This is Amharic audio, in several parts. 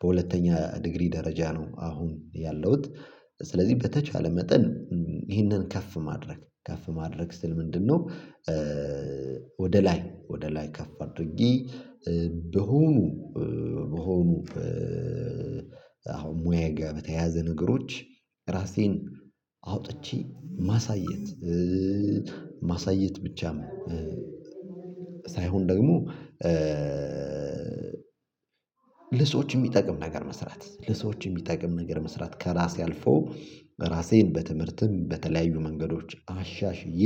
በሁለተኛ ዲግሪ ደረጃ ነው አሁን ያለሁት። ስለዚህ በተቻለ መጠን ይህንን ከፍ ማድረግ ከፍ ማድረግ ስል ምንድነው? ወደ ላይ ወደ ላይ ከፍ አድርጊ በሆኑ በሆኑ አሁን ሙያየ ጋር በተያያዘ ነገሮች ራሴን አውጥቼ ማሳየት። ማሳየት ብቻም ሳይሆን ደግሞ ለሰዎች የሚጠቅም ነገር መስራት ለሰዎች የሚጠቅም ነገር መስራት ከራሴ አልፎ ራሴን በትምህርትም በተለያዩ መንገዶች አሻሽዬ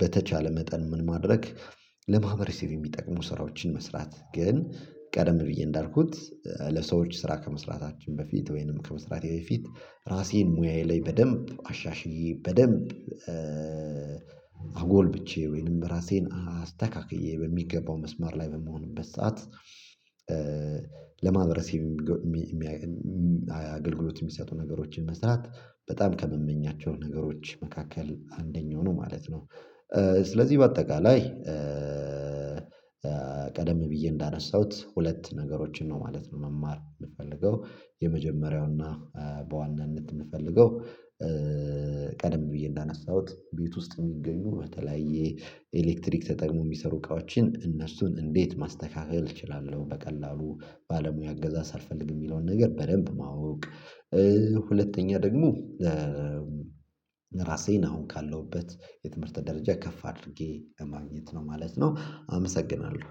በተቻለ መጠን ምን ማድረግ ለማህበረሰብ የሚጠቅሙ ስራዎችን መስራት። ግን ቀደም ብዬ እንዳልኩት ለሰዎች ስራ ከመስራታችን በፊት ወይንም ከመስራቴ በፊት ራሴን ሙያዬ ላይ በደንብ አሻሽዬ በደንብ አጎልብቸ ወይንም ራሴን አስተካክዬ በሚገባው መስማር ላይ በምሆንበት ሰዓት ለማህበረሰቤ አገልግሎት የሚሰጡ ነገሮችን መስራት በጣም ከመመኛቸው ነገሮች መካከል አንደኛው ነው ማለት ነው። ስለዚህ በአጠቃላይ ቀደም ብዬ እንዳነሳሁት ሁለት ነገሮችን ነው ማለት ነው መማር የምፈልገው። የመጀመሪያውና በዋናነት የምፈልገው ቀደም ብዬ እንዳነሳሁት ቤት ውስጥ የሚገኙ በተለያየ የኤሌክትሪክ ተጠቅሞ የሚሰሩ እቃዎችን እነሱን እንዴት ማስተካከል እችላለሁ በቀላሉ ባለሙያ አገዛ ሳልፈልግ የሚለውን ነገር በደንብ ማወቅ። ሁለተኛ ደግሞ ራሴን አሁን ካለሁበት የትምህርት ደረጃ ከፍ አድርጌ ማግኘት ነው ማለት ነው። አመሰግናለሁ